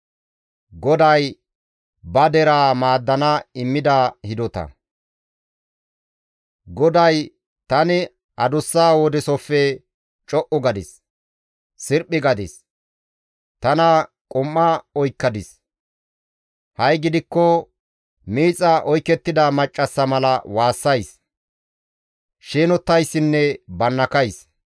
GODAY, «Tani adussa wodeesofe co7u gadis; sirphi gadis; tana qum7a oykkadis; ha7i gidikko miixa oykettida maccassa mala waassays; sheenottayssinne bannakays.